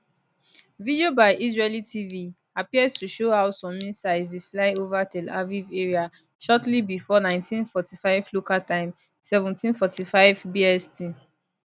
video by israeli tv appear to show how some missiles dey fly ova tel aviv area shortly bifor 1945 local time 1745 bst